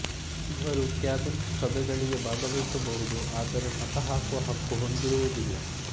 ಇವರು ಕ್ಯಾಬಿನೆಟ್ ಸಭೆಗಳಿಗೆ ಭಾಗವಹಿಸಬಹುದು ಆದರೆ ಮತ ಹಾಕುವ ಹಕ್ಕು ಹೊಂದಿರುವುದಿಲ್ಲ